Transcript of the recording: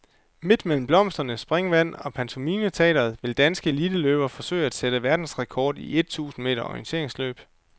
Midt mellem blomster, springvand og pantomimeteater vil danske eliteløbere forsøge at sætte verdensrekord i et tusind meter orienteringsløb.